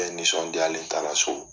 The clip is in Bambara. nisɔndiyalen taara so.